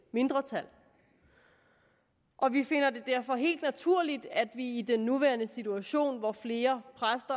mindretal og vi finder det derfor helt naturligt at vi i den nuværende situation hvor flere